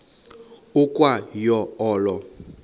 ukwa yo olo